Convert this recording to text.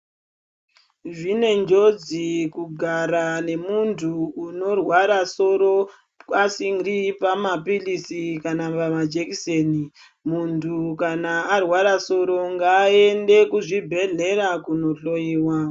Zvine njodzi kugara nemuntu unorwara soro asiri pamaphirisi kana pamajekiseni. Muntu kana arwara soro ngaende kuzvibhedhlera kunohloiwa.